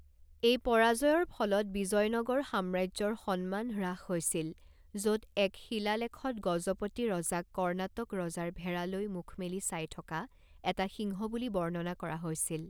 এই পৰাজয়ৰ ফলত বিজয়নগৰ সাম্ৰাজ্যৰ সন্মান হ্ৰাস হৈছিল, য'ত এক শিলালেখত গজপতি ৰজাক কৰ্ণাটক ৰজাৰ ভেড়ালৈ মুখ মেলি চাই থকা এটা সিংহ বুলি বৰ্ণনা কৰা হৈছিল।